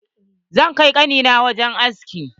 Zan kai ƙani na wajen aski.